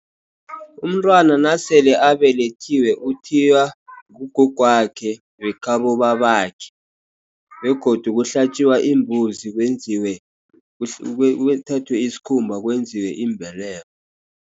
Umntwana nasele abelethiwe uthiywa ngugogwakhe, wekhabo babakhe. Begodu kuhlatjiwa imbuzi kwenziwe kuthathwa isikhumba kwenziwe imbeleko.